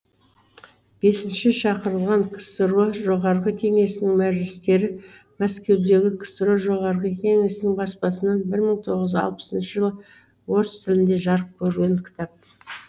бесінші шақырылған ксро жоғарғы кеңесінің мәжілістері мәскеудегі ксро жоғарғы кеңесінің баспасынан бір мың тоғыз жүз алпысыншы жылы орыс тілінде жарық көрген кітап